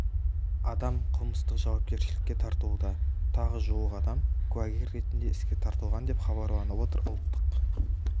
адам қылмыстық жауапкершілікке тартылуда тағы жуық адам куәгер ретінде іске тартылған деп хабарланып отыр ұлттық